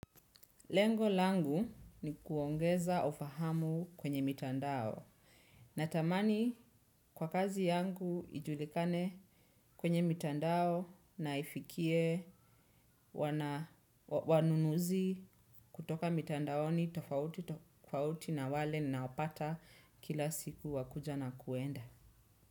Lengo langu ni kuongeza ufahamu kwenye mitandao. Natamani kwa kazi yangu ijulikane kwenye mitandao na ifikie wanunuzi kutoka mitandaoni tofauti na wale naopata kila siku wa kuja na kuenda.